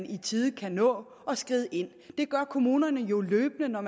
i tide kan nå at skride ind det gør kommunerne jo løbende når